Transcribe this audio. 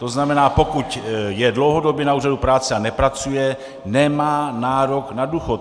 To znamená, pokud je dlouhodobě na úřadu práce a nepracuje, nemá nárok na důchod.